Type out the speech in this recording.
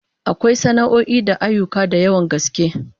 Akwai sana'o'i da ayyuka da yawan gaske